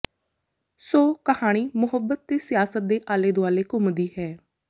ਸੋ ਕਹਾਣੀ ਮੁਹੱਬਤ ਤੇ ਸਿਆਸਤ ਦੇ ਆਲੇ ਦੁਆਲੇ ਘੁੰਮਦੀ ਹੈ